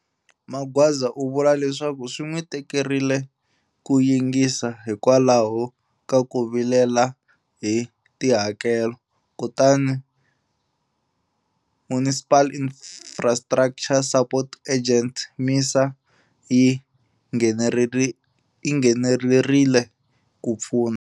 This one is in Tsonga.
Magwaza u vula leswaku swi n'wi tikerile ku yingisa hikwalaho ka ku vilela hi tihakelo. Kutani, Municipal Infrastructure Support Agent, MISA, yi nghenelerile ku pfuna.